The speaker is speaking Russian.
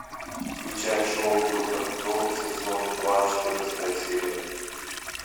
включай шоу доктор кто сезон два четырнадцатая серия